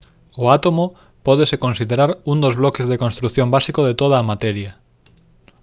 o átomo pódese considerar un dos bloques de construción básicos de toda a materia